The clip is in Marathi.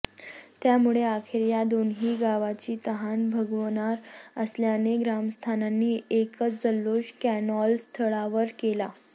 त्यामुळे अखेर या दोन्ही गावांची तहान भागणार असल्याने ग्रामस्थांनी एकच जल्लोष कॅनॉलस्थळावर केला